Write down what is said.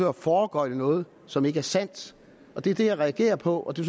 at foregøgle noget som ikke er sandt det er det jeg reagerer på og det